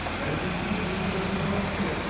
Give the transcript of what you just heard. әріптестігіміз өте жақсы дамып келеді